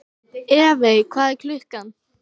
Evey, hvað er klukkan?